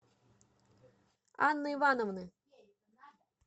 анны ивановны